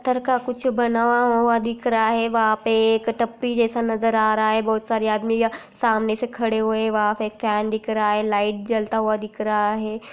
कर का कुछ बना हुआ दिख रहा है वहाँ पे एक टपपी जैसा नजर आ रहा है बहुत सारी आदमी सामने से खड़े हुए वहाँ पे एक कैन दिख रहा है| लाइट जलता हुआ दिख रहा है।